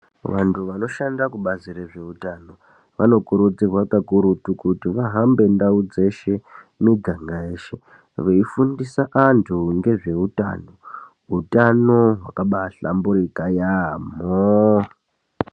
Vantu vanoshanda kubazi rezveutano vanokurudzirwa kakurutu kuti vahambe ndau dzeshe miganga yeshe veifundisa antu ngezveutano utano hwakabahlamburika yaambo.